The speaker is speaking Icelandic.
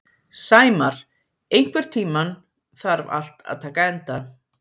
Sæmar, einhvern tímann þarf allt að taka enda.